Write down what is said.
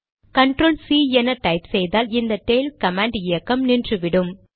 control C என type செய்தால் இந்த டெய்ல் கமாண்ட் இயக்கம் நின்றுவிடும்